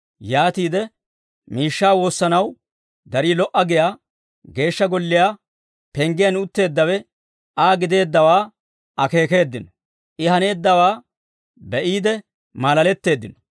Yaatiide, miishshaa woossanaw darii lo"a giyaa Geeshsha Golliyaa penggiyaan utteeddawe Aa gideeddawaa akeekeeddino; I haneeddawaa be'iide maalaletteeddino.